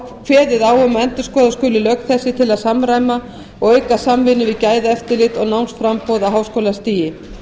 um að endurskoða skuli lög þessi til að samræma og auka samvinnu við gæðaeftirlit og námsframboð á háskólastigi